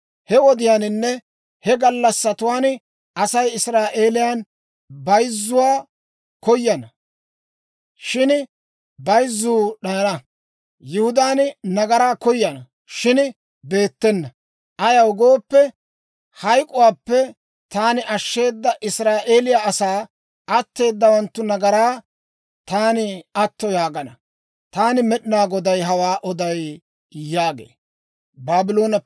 He wodiyaaninne he gallassatuwaan Asay Israa'eeliyaan bayzzuwaa koyana; shin bayzzuu d'ayana; Yihudaan nagaraa koyana; shin beettena. Ayaw gooppe, hayk'k'uwaappe taani ashsheeda Israa'eeliyaa asaa atteeddawanttu nagaraa taani atto yaagana. Taani Med'inaa Goday hawaa oday» yaagee.